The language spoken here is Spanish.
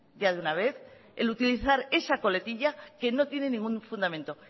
ya de una vez el utilizar esa coletilla que no tiene ningún fundamento